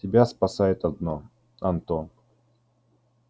тебя спасает одно антон